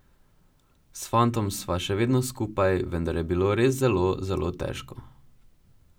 S fantom sva še vedno skupaj, vendar je bilo res zelo, zelo težko.